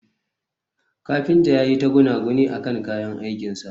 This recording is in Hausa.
kafinta yayi ta gunaguni akan kayan aikin sa